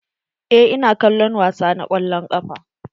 Eh, ina kallon wasa na kwallon ƙafa.